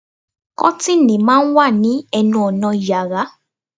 Kọ́tìnì máa ń wà ní ẹnu ọnà yàrá